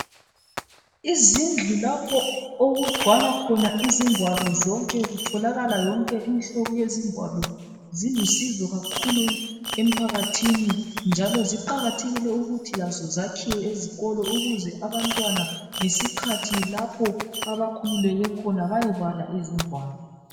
Izindlu lapho okugcwala khona izingwalo zonke kutholakala yonke imihlobo yezingwalo zilusizo kakhulu emphakathini. Njalo ziqakathekile ukuthi zakhiwe ezikolo ukuze abantwana lapho abakhululeke khona bayebala izingwalo.